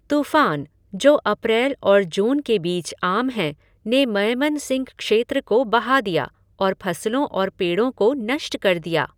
तूफ़ान, जो अप्रैल और जून के बीच आम हैं, ने मयमनसिंह क्षेत्र को बहा दिया और फसलों और पेड़ों को नष्ट कर दिया।